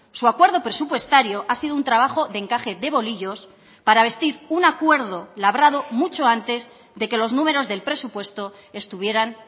su acuerdo presupuestario ha sido un trabajo de encaje de bolillos para vestir un acuerdo labrado mucho antes de que los números del presupuesto estuvieran